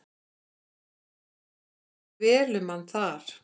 Það fór vel um hann þar.